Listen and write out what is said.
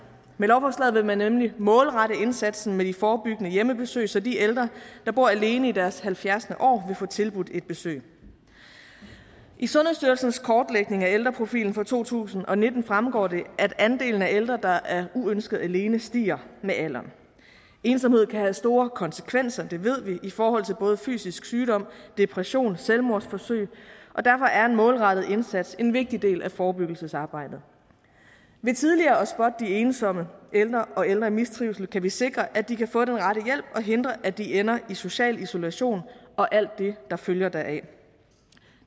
med lovforslaget vil man nemlig målrette indsatsen med de forebyggende hjemmebesøg så de ældre der bor alene i deres halvfjerds år vil få tilbudt et besøg i sundhedsstyrelsens kortlægning af ældreprofilen for to tusind og nitten fremgår det at andelen af ældre der er uønsket alene stiger med alderen ensomhed kan have store konsekvenser det ved vi i forhold til både fysisk sygdom depression og selvmordsforsøg og derfor er en målrettet indsats en vigtig del af forebyggelsesarbejdet ved tidligere at spotte de ensomme ældre og ældre i mistrivsel kan vi sikre at de kan få den rette hjælp og hindre at de ender i social isolation og alt det der følger deraf